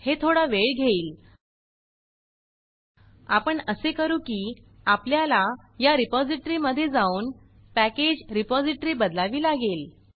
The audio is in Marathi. हे थोडा वेळ घेईल आपण असे करू की आपल्याला या रिपॉज़िटरी मध्ये जाऊन पॅकेज रिपॉज़िटरी बदलावी लागेल